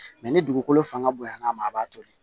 ni dugukolo fanga bonyana a ma a b'a toli